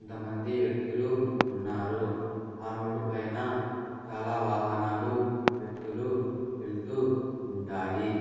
కొంతమంది వ్యక్తులు ఉన్నారు ఆ రోడ్డు పైన చాలా వాహనాలు వ్యక్తులు వెళ్తూ ఉంటాయి.